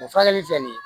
O furakɛli filɛ nin ye